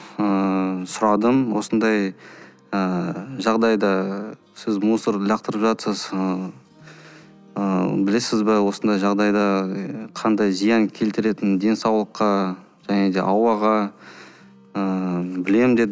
ыыы сұрадым осындай ыыы жағдайда сіз мусорды лақтырып жатырсыз ыыы білесіз бе осындай жағдайда қандай зиян келтіретінін денсаулыққа және де ауаға ыыы білемін деді